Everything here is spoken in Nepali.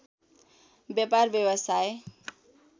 व्यापार व्यवसाय